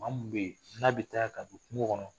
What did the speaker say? Maa mun bɛ yen n'a bɛ taa ka don kungo kɔnɔ